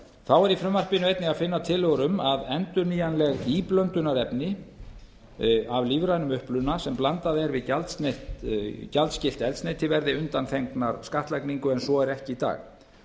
þá er í frumvarpinu einnig að finna tillögur um að endurnýjanleg íblöndunarefni af lífrænum uppruna sem blandað er við gjaldskylt eldsneyti verði undanþegin skattlagningu en svo er ekki í dag